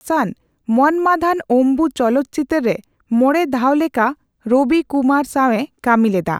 ᱦᱟᱥᱟᱱ 'ᱢᱚᱱᱢᱟᱫᱷᱟᱱ ᱚᱢᱵᱩ' ᱪᱚᱞᱚᱠᱪᱤᱛᱟᱹᱨᱮ ᱢᱚᱬᱮ ᱫᱷᱟᱣ ᱞᱮᱠᱟ ᱨᱚᱵᱤ ᱠᱩᱢᱟᱨ ᱥᱟᱣᱮ ᱠᱟᱢᱤ ᱞᱮᱫᱟ,